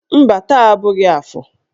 Mba, taa abụghị afọ.